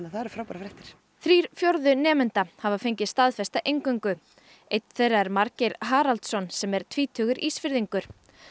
það eru frábærar fréttir þrír fjórðu nemenda hafa fengið staðfesta inngöngu einn þeirra er Margeir Haraldsson sem er tvítugur Ísfirðingur